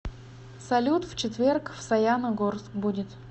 салют в четверг в саяна горск будет